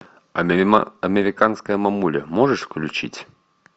американская мамуля можешь включить